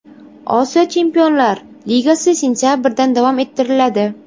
Osiyo Chempionlar Ligasi sentabrdan davom ettiriladi.